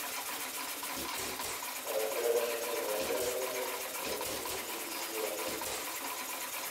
поиграть в приложение повелители сфер